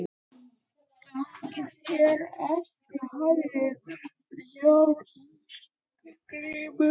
Gangi þér allt í haginn, Járngrímur.